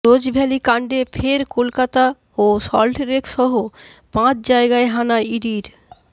Rose Valley কাণ্ডে ফের কলকাতা ও সল্টলেক সহ পাঁচ জায়গায় হানা ইডির